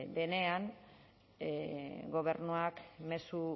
denean gobernuak mezu